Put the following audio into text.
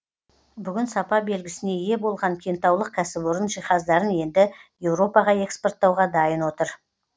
бүгін сапа белгісіне ие болған кентаулық кәсіпорын жиһаздарын енді еуропаға экспорттауға дайын отыр